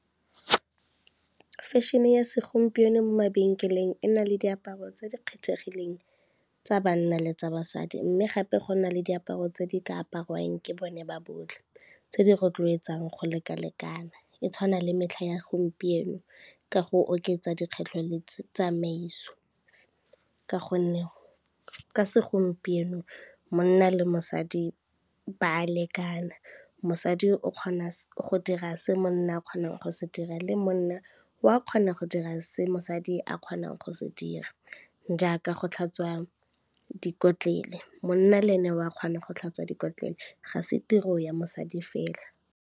Fashion-e ya segompieno mo mabenkeleng e na le diaparo tse di kgethegileng tsa banna le tsa basadi, mme gape go na le diaparo tse di ka aparwang ke bone ba botlhe tse di rotloetsang go lekalekana. E tshwana le metlha ya gompieno ka go oketsa dikgwetlho le tsamaiso ka gonne ka segompieno monna le mosadi ba a lekana, mosadi o kgona go dira se monna a kgonang go se dira le monna o a kgonang go dira se mosadi a kgonang go se dira, jaaka go tlhatswa dikotlele monna le ene o a kgona go tlhatswa dikotlele ga se tiro ya mosadi fela.